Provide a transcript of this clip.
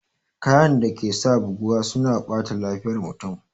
Kayan dake sa buguwa suna ɓata lafiyar mutum